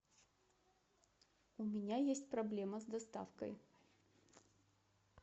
у меня есть проблема с доставкой